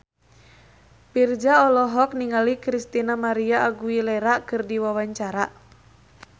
Virzha olohok ningali Christina María Aguilera keur diwawancara